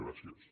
gràcies